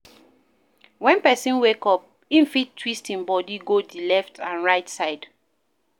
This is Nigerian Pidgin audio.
when person wake up, im fit twist im body go di left and right side